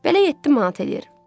Belə 7 manat eləyir.